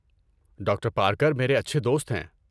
Doctor Parker میرے اچھے دوست ہیں۔